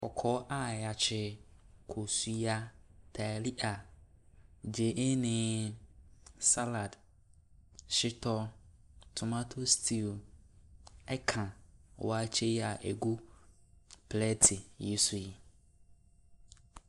Kɔkɔɔ a yakye, kosua, taalia, gyeene, salad, shitɔ, tomato stew ɛka waakye yia egu plɛti yi so yi.